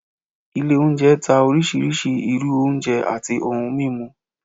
ilé oúnjẹ ta oriṣiriṣi irú oúnjẹ atí ohún mimú